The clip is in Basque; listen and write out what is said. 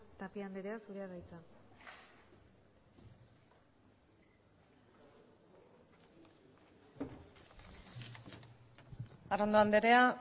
tapia andrea zurea da hitza arrondo andrea